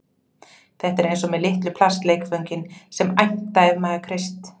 Þetta er eins og með litlu plastleikföngin sem æmta ef maður kreist